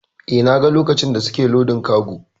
Eh, na ga lokacin da suke lodin kago.